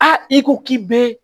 i ko k'i be